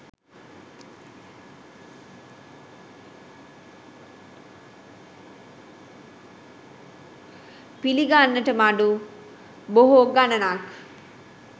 පිළිගන්නට මඩු බොහෝ ගණනක්